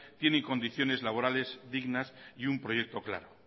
tienen condiciones laborales dignas y un proyecto claro